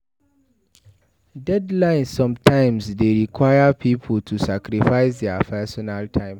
Deadline sometimes dey require pipo to sacrifice their personal time